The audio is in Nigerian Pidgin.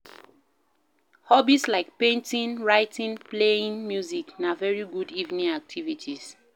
Hobbies like painting, writing playing music na very good evening activities